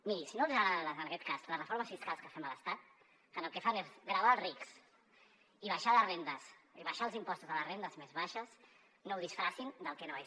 miri si no els hi agraden en aquest cas les reformes fiscals que fem a l’estat que el que fan és gravar els rics i baixar els impostos a les rendes més baixes no ho disfressin del que no és